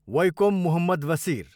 Vaikom Muhammad Basheer